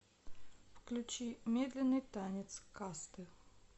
включи медленный танец касты